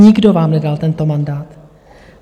Nikdo vám nedal tento mandát.